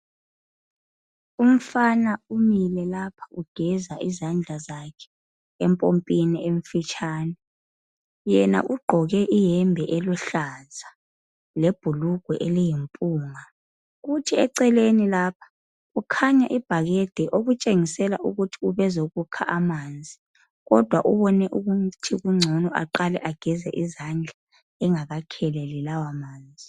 Umfana umile lapha ugeza izandla zakhe empompini emfitshane yena ugqoke iyembe eluhlaza lebhulugwe eliyimpunga. Eceleni lapha kukhanya ibhakede okutshengisela ukuthi ube ezokukha amanzi kodwa ubone kungcono ukuthi aqale ageze izandla engakakheleli lawa manzi.